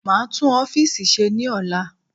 Maa tún ọfiisi ṣe ní ola